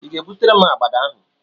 I ga-ebutere m agbada ahụ?